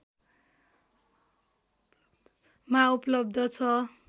मा उपलब्ध छ